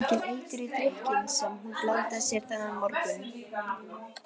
Það setti enginn eitur í drykkinn sem hún blandaði sér þennan morgun.